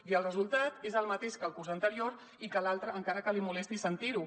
i el resultat és el mateix que el curs anterior i que l’altre encara que el molesti sentir ho